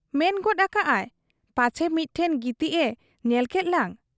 ᱢᱮᱱᱜᱮᱫ ᱟᱠᱟᱜ ᱟᱭ 'ᱯᱟᱪᱷᱮ ᱢᱤᱫᱴᱷᱮᱫ ᱜᱤᱛᱤᱡ ᱮ ᱧᱮᱞᱠᱮᱫ ᱞᱟᱝ ?